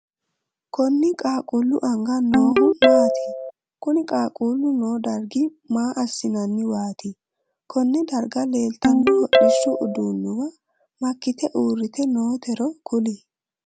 Konni qaaqqu anga noohu maati? Kunni qaaqu noo dargi maa assannanniwaati? Konne darga leeltano hodhishu uduunnuwa makite uurite nootero kuli?